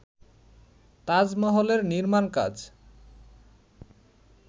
তাজমহলের নির্মাণকাজ